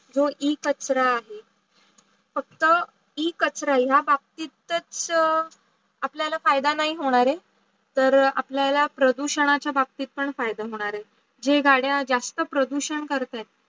जो इ कचरा आहे फक्त इ कचरा ही बाकी आपल्याला फायदा नाही होणारे तर आपल्याला प्रदूषणाचे बाबताने फायदा होणार आहार. जे गाडिया जास्त प्रदूषण कराय